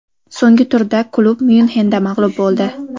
So‘nggi turda klub Myunxenda mag‘lub bo‘ldi.